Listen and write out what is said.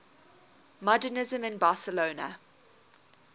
modernisme in barcelona